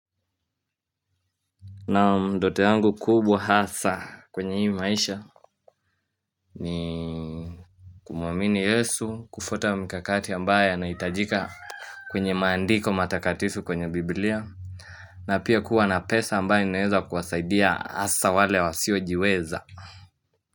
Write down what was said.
Naam ndoto yangu kubwa hasa kwenye hii maisha ni kumwamini yesu kufuata mikakati ambaye anaitajika kwenye maandiko matakatifu kwenye bibilia na pia kuwa na pesa ambaye ninaeza kuwasaidia hasa wale wa siojiweza.